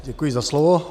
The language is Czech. Děkuji za slovo.